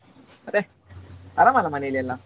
ಮತ್ತೆ ಆರಾಮ್ ಅಲ್ಲ ಮನೇಲಿ ಎಲ್ಲ?